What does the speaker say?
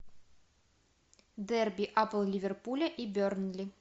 дерби апл ливерпуля и бернли